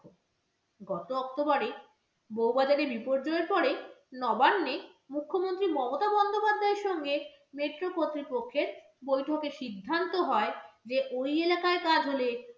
গত october এ বৌবাজারে বিপর্যয়ের পরে নবান্নে মুখ্যমন্ত্রী মমতা বন্দ্যোপাধ্যায়ের সঙ্গে metro কর্তৃপক্ষের বৈঠকে সিদ্ধান্ত হয় যে, ওই এলাকার কাজ হলে